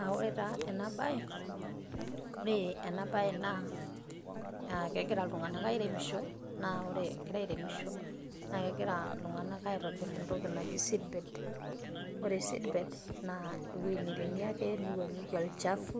aa ore taa ena bae, ore ena bae naa kegira iltunganak airemisho, naa kegira iltunganak aitobir entoki naji seedbed, ore seedbed naa ewuei neiremi ake neiwuang'eki olchafu,